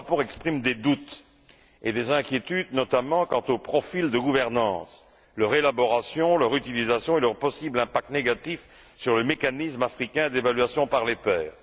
Or, le rapport exprime des doutes et des inquiétudes notamment quant aux profils de gouvernance leur élaboration, leur utilisation et leur possible impact négatif sur le mécanisme africain d'évaluation par les pairs.